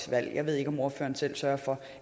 valg jeg ved ikke om ordføreren selv sørger for